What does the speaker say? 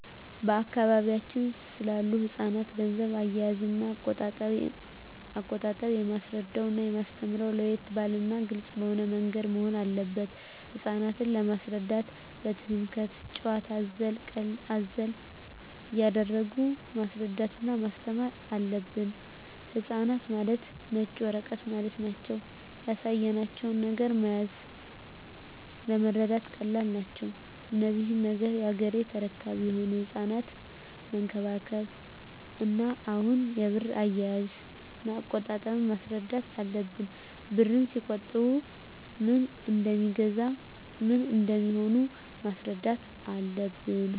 በአካባቢያችን ስላሉ ህጻናት ገንዘብ አያያዝና አቆጣጠብ የማስረዳውና የማስተምረው ለየት ባለና ግልጽ በሆነ ምንገድ መሆን አለበት ህጻናት ለመሰረዳት ትምክህቱን ጭዋታ አዘል ቀልድ አዘል እያረጉ ማስረዳት እና ማስተማር አለብን ህጻናት ማለት ነጭ ወረቀት ማለት ናቸው ያሳያቸው ነገር መያዝ ለመረዳት ቀላል ናቸው እነዚህ ነገ ያገሬ ተረካቢ የሆኑ ህጻናትን መንከባከብ እና አሁኑ የብር አያያዥ እና አቆጣጠብ ማስረዳት አለብን ብርን ሲቆጥቡ ምን እደሜገዛ ምን እንደሚሆኑም ማስረዳት አለብን